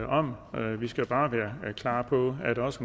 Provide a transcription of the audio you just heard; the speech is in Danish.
om men vi skal bare være klar på at også